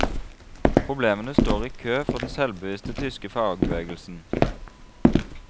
Problemene står i kø for den selvbevisste tyske fagbevegelsen.